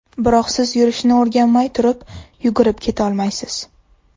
Biroq siz yurishni o‘rganmay turib, yugurib ketolmaysiz.